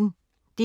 DR P1